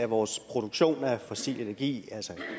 af vores produktion af fossil energi altså